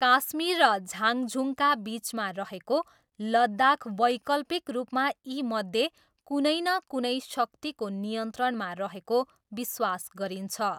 काश्मीर र झाङझुङका बिचमा रहेको लद्दाख वैकल्पिक रूपमा यीमध्ये कुनै न कुनै शक्तिको नियन्त्रणमा रहेको विश्वास गरिन्छ।